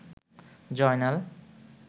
Joynal